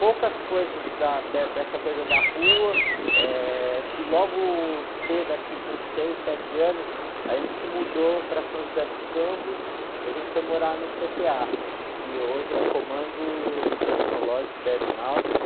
Poucas coisas da, dessa coisa da rua, que logo cedo, acho que com seis, sete anos, a gente se mudou para São José dos Campos e a gente foi morar no cê-tê-á, que hoje é Comando Tecnológico da Aeronáutica.